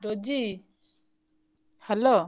Rosy hello ।